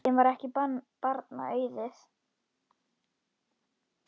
Þeim varð ekki barna auðið.